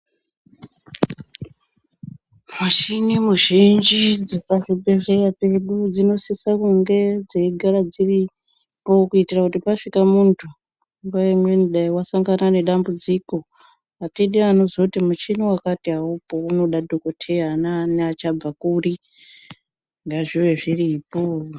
Mushini muzhinji dzepa zvibhedhleya pedu dzino sisa kunge dzei gara dziripo ku itira kuti pasvika muntu nguva imweni dai wasangana ne dambudziko atidi anozoti muchina wakati awupo unoda dhokoteya ana onini achabva kuri ngazviwe zviripo.